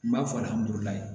N b'a fɔ